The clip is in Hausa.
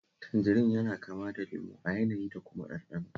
Tanjarin yana kama da lemo a yanayi da kuma ɗanɗano